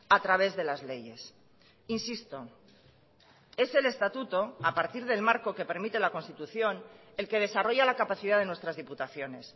a través de las leyes insisto es el estatuto a partir del marco que permite la constitución el que desarrolla la capacidad de nuestras diputaciones